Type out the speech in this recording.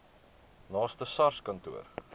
naaste sars kantoor